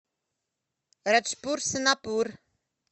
раджпур сонапур